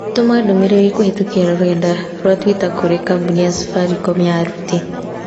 Tũma ndũmĩrĩri kũhĩtũkĩra rũrenda rũa tũita kũrĩ kambũni ya Safaricom ya aruti